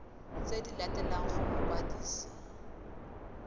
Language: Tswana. tse di latelang go mokwadisi